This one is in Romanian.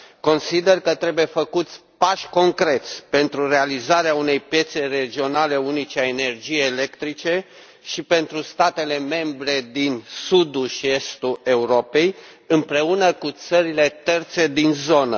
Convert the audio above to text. Consider că trebuie făcuți pași concreți pentru realizarea unei piețe regionale unice a energiei electrice și pentru statele membre din Sudul și Estul Europei împreună cu țările terțe din zonă.